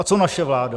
A co naše vláda?